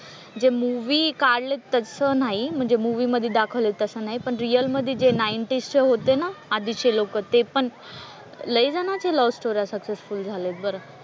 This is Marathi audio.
जे मूव्ही काढलेत तसं नाही म्हणजे मूव्ही मधे दाखवलंय तसं नाही पण रिअल मधे जे नाईंटीजचे होते ना आधीचे लोकं ते पण लय जणांच्या लव्ह स्टोऱ्या सक्सेसफुल झाल्यात बरं.